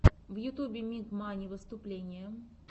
в ютьюбе миг мани выступление